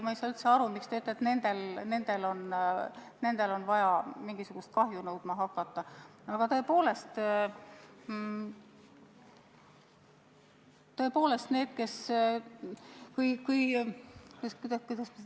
Ma ei saa üldse aru, miks te ütlete, et nendel on vaja mingisuguse kahju hüvitamist nõudma hakata.